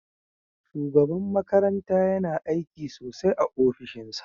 Shugaban makaranta yama aiki sosai a ofishinsa.